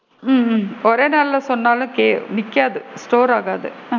ஹம் உம் ஒரே நாளுல சொன்னாலும் கே நிக்காது store ஆகாது.